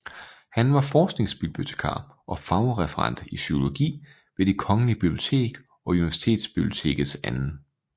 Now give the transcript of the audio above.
Han var forskningsbibliotekar og fagreferent i psykologi ved Det Kongelige Bibliotek og Universitetsbibliotekets 2